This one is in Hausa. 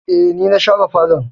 Eh, ni na share falon